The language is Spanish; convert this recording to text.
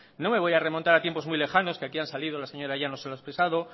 no me voy a remontar a tiempos muy lejanos que han salido la señora llanos y lo ha expresado